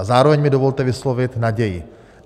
A zároveň mi dovolte vyslovit naději.